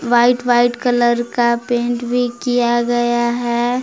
White white colour का paint भी किया गया है।